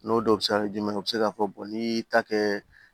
N'o dɔw bɛ se ka kɛ jumɛn ye u bɛ se k'a fɔ n'i y'i ta kɛ